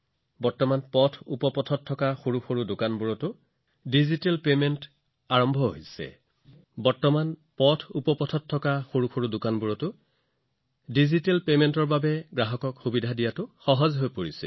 ৰাস্তাৰ কোণৰ সৰু দোকানবোৰত ডিজিটেল পৰিশোধৰ সৈতে তেওঁলোকৰ বাবে অধিক সংখ্যক গ্ৰাহকক সেৱা আগবঢ়োৱা সহজ হৈ পৰিছে